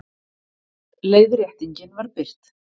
Leiðréttingin var birt